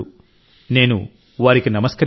నేను వారికి నమస్కరిస్తున్నాను